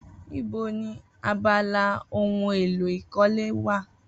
Ibo ni abala ohun èlò ìkọ́lé wà?